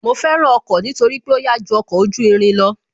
Mo fẹ́ràn ọkọ̀ nítorí pé ó yá ju ọkọ̀ ojú irin lọ